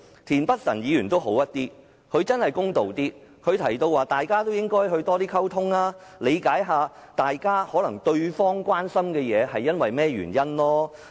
田北辰議員公道一些，他提到大家應多溝通，理解對方關心某些事情的原因。